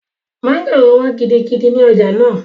Mọ́ngòrò wọ́n gidigidi ní ọjà náà